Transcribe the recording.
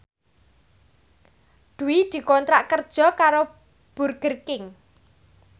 Dwi dikontrak kerja karo Burger King